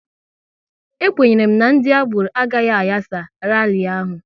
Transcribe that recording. E kwenyere m na ndị agboro agaghị ayasa rali ahụ